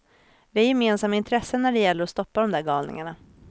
Vi har gemensamma intressen när det gäller att stoppa dom där galningarna.